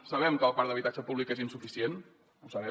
sabem que el parc d’habitatge públic és insuficient ho sabem